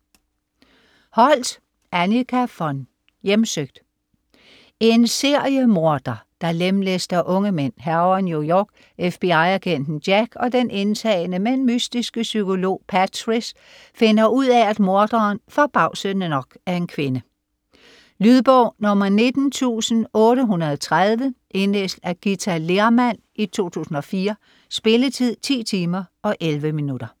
Holdt, Annika von: Hjemsøgt En seriemorder, der lemlæster unge mænd, hærger New York. FBI-agenten Jack og den indtagende, men mystiske psykolog Patrice finder ud af, at morderen - forbavsende nok - er en kvinde. Lydbog 19830 Indlæst af Githa Lehrmann, 2004. Spilletid: 10 timer, 11 minutter.